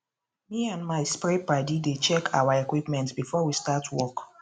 me and my spray padi dey check our equipment before we start work